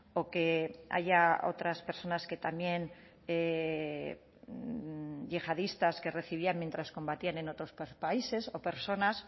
o que haya otras personas que también yihadistas que recibían mientras combatían en otros países o personas